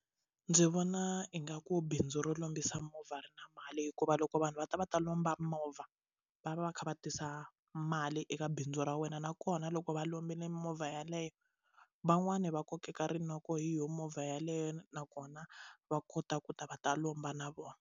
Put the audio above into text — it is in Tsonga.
Ndzi vona ingaku bindzu ro lombisa mimovha ri na mali hikuva loko vanhu va ta va ta lomba movha va va va va kha va tisa mali eka bindzu ra wena nakona loko va lombile mimovha yaleyo van'wani va kokeka rinoko hi yo movha yeleyo nakona va kota ku ta va ta lomba na vona.